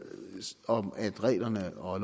om at reglerne og